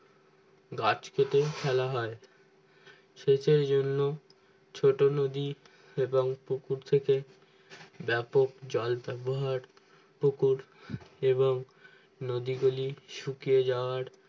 গাছ কেটে ফেলা হয় ক্ষেতের জন্য ছোট যদি এবং পুকুর থেকে ব্যাপক জল ব্যবহার পুকুর এবং যদি গুলি শুকিয়ে যাওয়ার